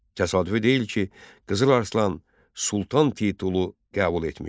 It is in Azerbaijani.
Təsadüfü deyil ki, Qızıl Arslan Sultan titulu qəbul etmişdi.